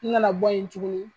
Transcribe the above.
N na na bɔ ye tuguni